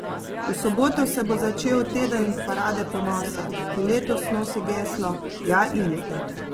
V soboto se bo začel teden parade ponosa, ki letos nosi geslo Ja, in?